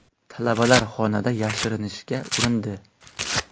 Talabalar xonada yashirinishga urindi.